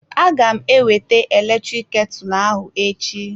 Aga m ewete eletrik ketu ahụ echi.